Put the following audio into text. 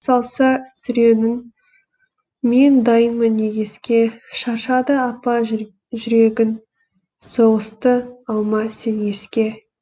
салса сүренін мен дайынмын егеске шаршады апа жүрегің соғысты алма сен еске